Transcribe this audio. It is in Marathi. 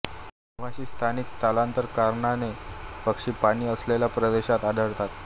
निवासी स्थानिक स्थलांतर करणारे पक्षी पाणी असलेल्या प्रदेशात आढळतात